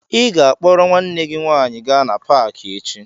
Ị ga-akpọrọ nwanne gị nwaanyị gaa na paakị echi!